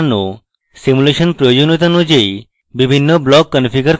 simulation প্রয়োজনীয়তা অনুযায়ী প্রতিটি block configure করা